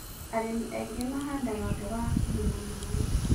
Arĩmi aingĩ mahandaga mboga hakuhĩ na maaĩ